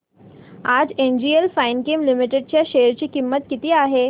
आज NGL Finechem limited च्या share ची किंमत किती आहे